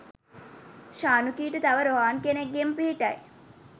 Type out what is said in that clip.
ශනුකිට තව රොහාන් කෙනෙක්ගෙම පිහිටයි.